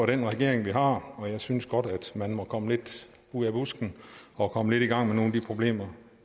den regering vi har og jeg synes godt at man må komme lidt ud af busken og komme lidt i gang med nogle af de problemer